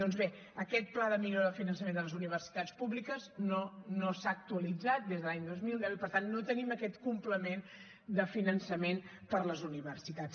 doncs bé aquest pla de millora del finançament de les universitats públiques no s’ha actualitzat des de l’any dos mil deu i per tant no tenim aquest complement de finançament per a les universitats